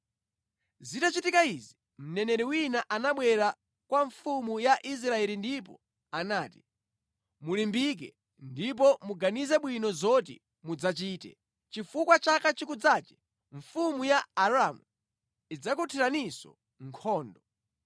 Zitachitika izi, mneneri wina anabwera kwa mfumu ya Israeli ndipo anati, “Mulimbike ndipo muganize bwino zoti mudzachite, chifukwa chaka chikudzachi mfumu ya Aramu idzakuthiraninso nkhondo.”